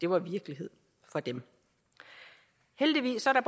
var virkelighed for dem heldigvis er der